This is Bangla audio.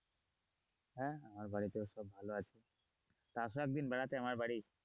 হ্যাঁ আমার বাড়িতে ও সব ভালো আছে তো আসো একদিন বেড়াতে আমার বাড়ি,